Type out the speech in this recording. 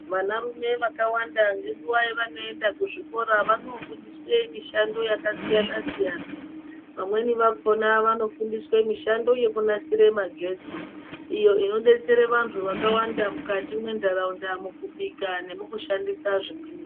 Vanarume vakawanda ngenguva yavanoenda kuzvikora vanofundiswa mishando yakasiyana siyana. Vamweni vakhona vanofundiswa mishando yekunasira magetsi iyo inodetsera vanhu vakawanda mukati mundaraunda mukubika nemukushandisa zvimweni.